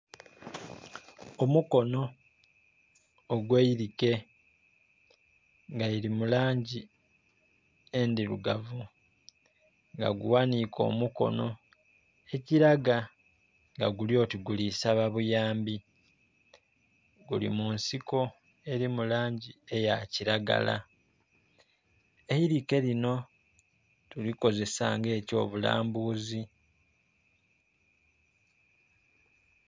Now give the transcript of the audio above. Omukono ogwa eirike nga lili mu langi endhirugavu nga gu ghanike omukono ekilaga nga guli oti guli saaba buyambi, guli mu nsiko eri mu langi eya kilagala. Eirike lino tulikozesa nga ekyo bulambuzi.